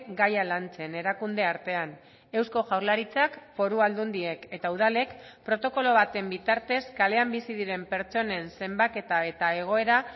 gaia lantzen erakunde artean eusko jaurlaritzak foru aldundiek eta udalek protokolo baten bitartez kalean bizi diren pertsonen zenbaketa eta egoera